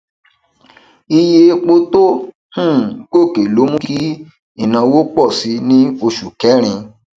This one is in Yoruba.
iye epo tó um gòkè lo mú kí ìnáwó pọ síi ní oṣù kẹrìn